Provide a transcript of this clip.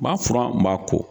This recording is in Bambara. N b'a furan n b'a ko .